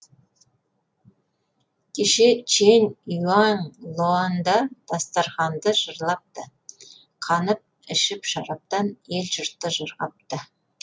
кеше чэнь уаң лояңда дастарқанды жырлапты қанып ішіп шараптан елі жұрты жырғапты